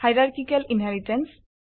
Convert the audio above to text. hierarchical inheritance